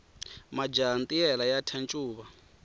majaha ntiyela ya thya ncuva